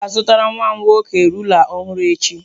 M ga-azụtara nwa m nwoke rula ọhụrụ echi.